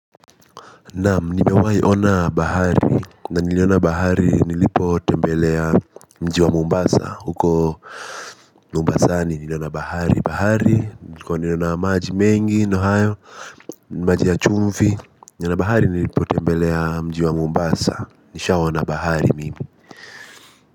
Naam nimewahi ona bahari na niliona bahari nilipotembelea mji wa Mombasa huko Mombasani niliona bahari bahari niliona maji mengi ndo hayo. Maji ya chumvi niliona bahari nilipo tembelea mji wa Mumbasa nishaona bahari mimi.